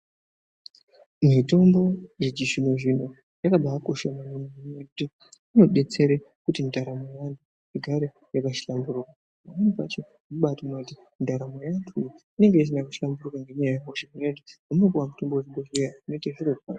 Mithombo yechizvinozvino yakabaakosha yaampho ngekuti inodetsere kuti ndaramo yeanhu igare yakahlamburuka pamweni pacho unobaaone kuti ndaramo yeantu inonge isina kuhlamburuka ngenyaya yehosha unonge woode kuende kuchibhodheya vinovheneka zvirozvo.